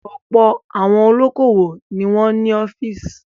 Ọ̀pọ̀ àwọn olókòwò ni wọ́n ní ọ́fíísì.